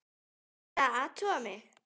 Er verið að athuga mig?